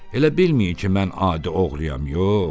Elə bilməyin ki, mən adi oğruyam, yox.